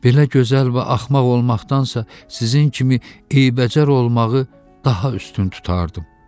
Belə gözəl və axmaq olmaqdansa sizin kimi eybəcər olmağı daha üstün tutardım.